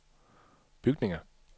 bygninger